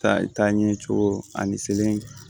Taa ɲɛ cogo ani seleke